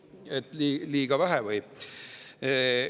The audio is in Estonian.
liiga vähe?